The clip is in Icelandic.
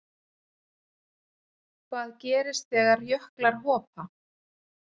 hvað gerist þegar jöklar hopa